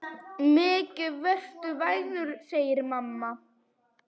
Mikið ertu vænn, segir mamma.